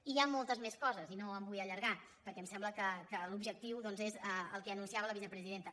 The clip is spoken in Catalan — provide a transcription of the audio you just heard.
i hi ha moltes més coses i no em vull allargar perquè em sembla que l’objectiu doncs és el que anunciava la vicepresidenta